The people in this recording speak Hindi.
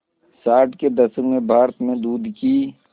साठ के दशक में भारत में दूध की